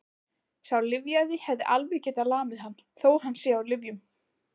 Sá lyfjaði hefði alveg getað lamið hann, þó að hann sé á lyfjum.